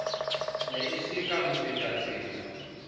ne e se ka mofetakatsela